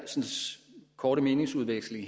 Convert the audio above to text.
korte meningsudveksling